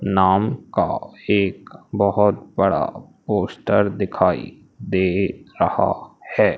नाम का एक बहोत बड़ा पोस्टर दिखाई दे रहा हैं।